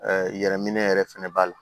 yɛrɛminɛ yɛrɛ fɛnɛ b'a la